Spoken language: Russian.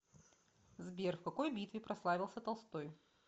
сбер в какой битве прославился толстой